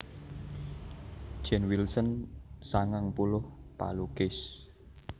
Jane Wilson sangang puluh palukis